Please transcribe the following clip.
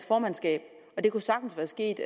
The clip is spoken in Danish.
formandskab og det kunne sagtens være sket